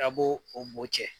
A b'o o bo cɛ.